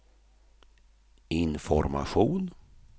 information